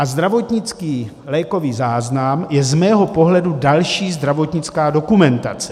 A zdravotnický lékový záznam je z mého pohledu další zdravotnická dokumentace.